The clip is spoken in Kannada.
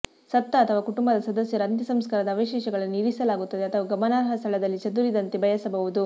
ಸತ್ತ ಅಥವಾ ಕುಟುಂಬದ ಸದಸ್ಯರು ಅಂತ್ಯಸಂಸ್ಕಾರದ ಅವಶೇಷಗಳನ್ನು ಇರಿಸಲಾಗುತ್ತದೆ ಅಥವಾ ಗಮನಾರ್ಹ ಸ್ಥಳದಲ್ಲಿ ಚದುರಿದಂತೆ ಬಯಸಬಹುದು